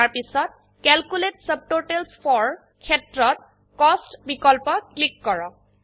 ইয়াৰ পিছত calculate subtotals for ক্ষেত্ৰত কষ্ট বিকল্প ক্লিক কৰক